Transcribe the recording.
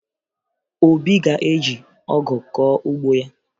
Obi ga-eji ọgụ kọọ ugbo ya